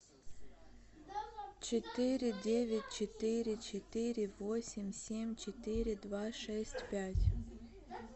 четыре девять четыре четыре восемь семь четыре два шесть пять